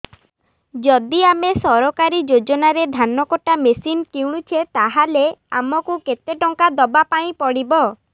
ଯଦି ଆମେ ସରକାରୀ ଯୋଜନାରେ ଧାନ କଟା ମେସିନ୍ କିଣୁଛେ ତାହାଲେ ଆମକୁ କେତେ ଟଙ୍କା ଦବାପାଇଁ ପଡିବ